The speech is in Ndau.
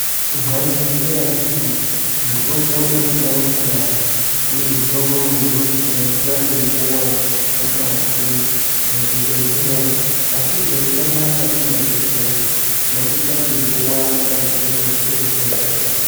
Mwaizviziya ere kuti mitombo inosiyana siyana uye mitombo mizhinji tinosisa kuipuwa mukati mwezvibhedhleya asi tikaitama mukati mwezvibhedhleya tinosisa kuipuwa mukati mwezvitoro zvinotengese mitombo.